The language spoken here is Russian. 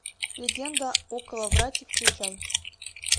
легенда о коловрате включай